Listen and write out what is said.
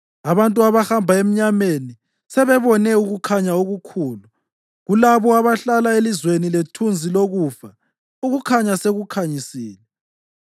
Abantu abahamba emnyameni sebebone ukukhanya okukhulu; kulabo abahlala elizweni lethunzi lokufa ukukhanya sekukhanyisile.